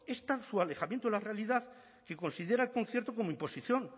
es tal su alejamiento de la realidad que considera concierto como imposición